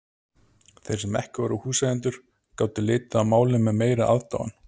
Þeir sem ekki voru húseigendur gátu litið á málið með meiri aðdáun.